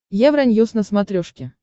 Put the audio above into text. евроньюс на смотрешке